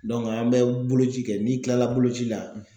an bɛ boloci kɛ n'i tilala boloci la